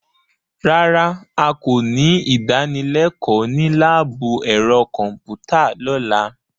Rárá,a kò ní ìdánilẹ́kọ̀ọ́ ní láàbù ẹ̀rọ kọ̀m̀pútà lọ́la.